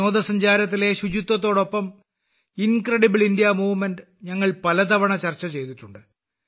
വിനോദസഞ്ചാരത്തിലെ ശുചിത്വത്തോടൊപ്പം incredible India movement ഞങ്ങൾ പലതവണ ചർച്ച ചെയ്തിട്ടുണ്ട്